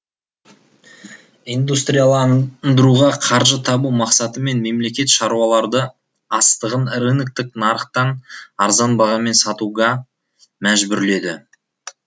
индустрияландыруға қаржы табу мақсатымен мемлекет шаруаларды астығын рыноктық нарықтан арзан бағамен сатуға мәжбүрледі